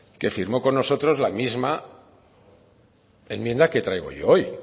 que firmo con nosotros la misma enmienda que traigo yo hoy